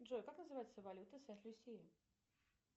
джой как называется валюта сент люсии